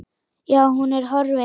Já, hún er horfin.